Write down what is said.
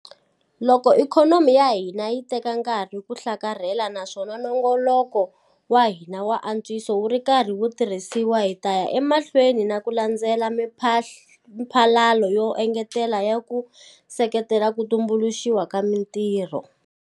Loko ikhonomi ya hina yi teka nkarhi ku hlakarhela naswona nongoloko wa hina wa antswiso wu ri karhi wu tirhisiwa, hi ta ya emahlweni na ku landzelela miphalalo yo engetela yo ku seketela ku tumbuluxiwa ka mitirho.